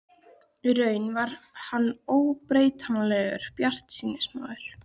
Í raun var hann óbetranlegur bjartsýnismaður.